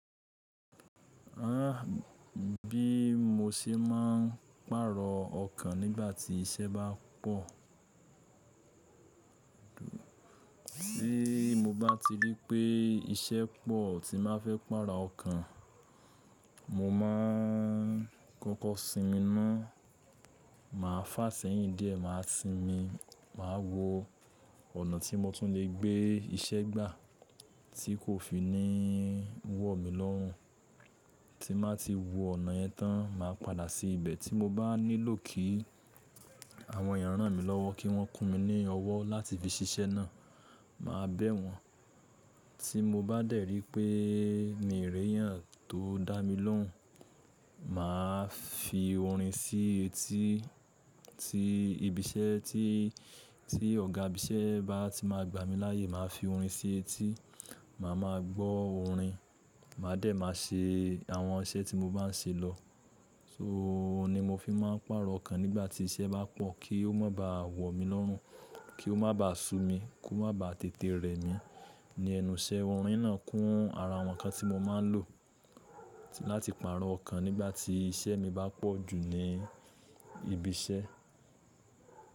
Bí mo ṣe máà ń pàrọ̀ ọkàn nígbà tí iṣẹ́ bá pọ̀. Tí mo bá ti rí pé iṣẹ́ pọ̀ tí n bá fẹ́ pàrọ̀ ọkàn, mo ma n kọ́kọ́ sinmi ná. Màá fàá sẹ́yìn díẹ̀, màá sinmi, màá wo ọ̀nà tí mo tún lè gbé iṣẹ́ gbà tí kò fi ní wọ̀ mí lọ́rùn. Tí n bá ti wo ọ̀nà yẹn tán, màá padà sí ibẹ̀ tí mo bá nílò kí àwọn ènìyàn rán mi lówó kí wọ́n kun mi ní owó láti fi ṣiṣẹ́ ná. Màá bẹ́ wọn. Tí mo bá dẹ̀ rí pé mii reyàn tó dá mi lóhùn, màá fi orin sí etí tí ibi iṣẹ́ tí, tí ọ̀gá ibi iṣẹ́ bá ti máa gbà mí láyè, màá fi orin sí etí. Màá máa gbọ́ orin, màá dẹ̀ máa ṣe àwọn iṣẹ́ tí mo bá ń ṣe lọ. So oun ni mo fi máà ń pàrọ̀ ọkàn nígbà tí iṣẹ́ bá pọ̀ kí ó má bá à wọ̀ mí lọ́rùn, kí ó má bá à ṣu mi, kí ó má bá à tètè rẹ̀ mí. Ni ẹnu iṣẹ́ orin náà kún ara àwọn nǹkan tí mo máa ń lò láti pàrọ̀ ọkàn nígbà tí iṣẹ́ mi bá pọ̀ jù ní ibi iṣẹ́.